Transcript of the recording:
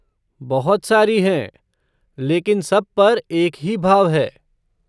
बहुत सारी हैं, लेकिन सब पर एक ही भाव है।